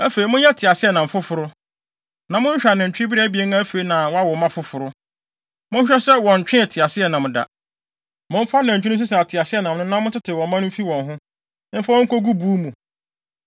“Afei, monyɛ teaseɛnam foforo, na monhwehwɛ anantwibere abien a afei na wɔawo mma foforo. Monhwɛ sɛ wɔntwee teaseɛnam da. Momfa anantwi no nsesa teaseɛnam no na montetew wɔn mma no mfi wɔn ho, mfa wɔn nkogu wɔn buw mu.